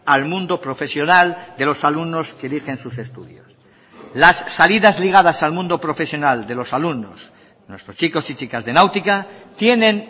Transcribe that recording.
al mundo profesional de los alumnos que eligen sus estudios las salidas ligadas al mundo profesional de los alumnos nuestros chicos y chicas de náutica tienen